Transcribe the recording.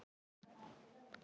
Er hún ekki déskoti góð?